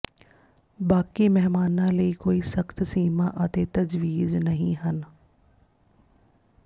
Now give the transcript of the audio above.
ਬਾਕੀ ਮਹਿਮਾਨਾਂ ਲਈ ਕੋਈ ਸਖਤ ਸੀਮਾ ਅਤੇ ਤਜਵੀਜ਼ ਨਹੀਂ ਹਨ